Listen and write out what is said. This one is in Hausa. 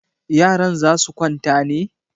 Yaran za su kwanta ne?